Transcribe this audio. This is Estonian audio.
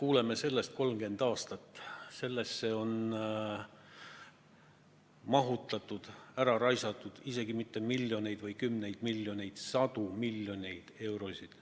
Me oleme seda kuulnud 30 aastat, sellesse on mahutatud, õigemini on selle peale ära raisatud isegi mitte ainult miljoneid või kümneid miljoneid, vaid lausa sadu miljoneid eurosid.